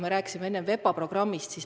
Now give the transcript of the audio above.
Me rääkisime enne VEPA programmist.